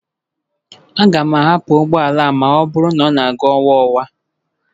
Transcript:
Aga m ahapụ ụgbọ ala a ma ọ bụrụ na ọ na-aga nwayọọ nwayọọ